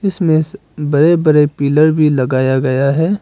इसमें बड़े बड़े पिलर भी लगाया गया है।